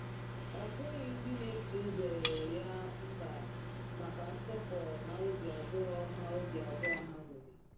Ọ bụghị ndị n'eso ụzọ ya mba maka ntụpọ na obi abụọ ha obi abụọ ha nwere.